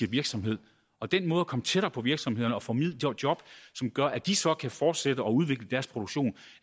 virksomhed og den måde at komme tættere på virksomhederne og formidle job gør at de så kan fortsætte og udvikle deres produktion